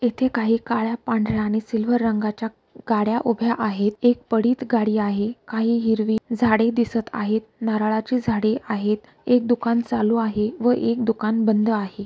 इथे काही काळ्या पढर्‍या आणि सिल्वर रंगाच्या गाड्या उभ्या आहेत एक पडीत गाडी आहे काही हिरवी झाडे दिसत आहेत नारळाची झाडी आहेत एक दुकान चालू आहे व एक दुकान बंद आहे.